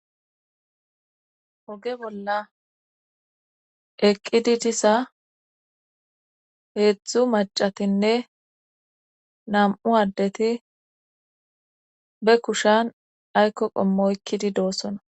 Oge bolla eqqidi diza heezzu macatinne nam'u addeti ba kushan ayikko qommo oyikkidi doosona.